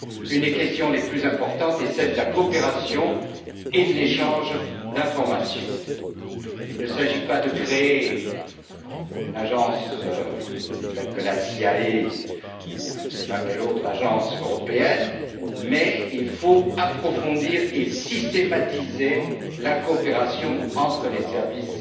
Une des questions les plus importantes est celle de la coopération et de l'échange d'informations. Il ne s'agit pas de créer une agence telle que la CIA, ou je ne sais quelle autre agence européenne, mais il faut approfondir et systématiser la coopération entre les services